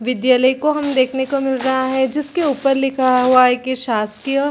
विद्यालय को हम देखने को मिल रहा है जिसके ऊपर लिखा हुआ है की शासकीय--